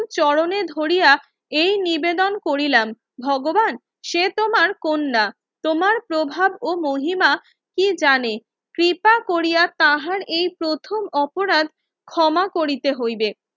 চরণে ধরিয়া এই নিবেদন করিলাম ভগবান সে তোমার কন্যা তোমার প্রভাব ও মহিমা কি জানে কৃপা কোরিয়া তাহার এই প্রথম অপরাধ ক্ষমা করিতে হইবে